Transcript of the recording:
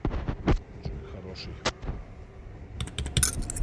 джой хороший